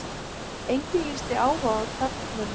Enginn lýsti áhuga á taflmönnum